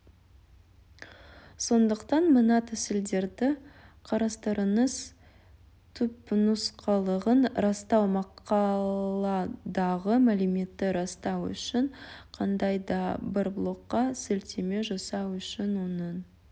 сондықтан мына тәсілдерді қарастырыңыз түпнұсқалығын растау мақаладағы мәліметті растау үшін қандай да бір блогқа сілтеме жасау үшін оның